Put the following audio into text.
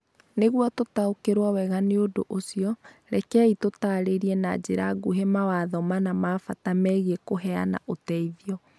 Nĩguo tũtaũkĩrũo wega nĩ ũndũ ũcio, rekei tũtaarĩrie na njĩra nguhĩ mawatho mana ma bata megiĩ kũheana ũteithio.